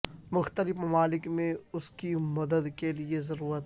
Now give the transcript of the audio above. مختلف ممالک میں اس کی مدد کے لئے ضرورت